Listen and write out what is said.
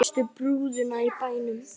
Stærstu brúðuna í bænum.